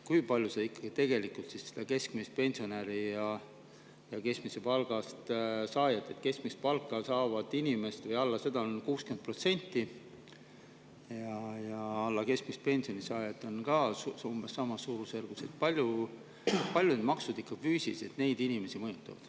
Kui palju ikkagi maksud tegelikult seda keskmise pensioni või keskmise palga saajat – keskmist palka või alla selle saavaid inimesi on 60% ja alla keskmise pensioni saajaid on ka umbes samas suurusjärgus – füüsiliselt mõjutavad?